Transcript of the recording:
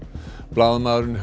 blaðamaðurinn